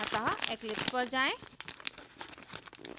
अतः eclipse पर जाएँ